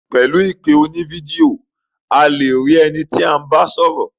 Pẹ̀lu ìpè oní video,a le rí ẹni tí à ń bá sọ́rọ̀.